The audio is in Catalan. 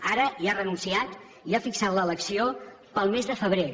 ara hi ha renunciat i ha fixat l’elecció per al mes de febrer